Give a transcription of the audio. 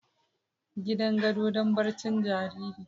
Gidan gado don barcin jariri.